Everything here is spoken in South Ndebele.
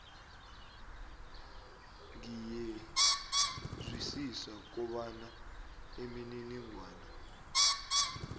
ngiyezwisisa kobana imininingwana